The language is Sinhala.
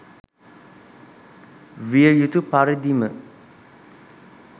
විය යුතු පරිදිම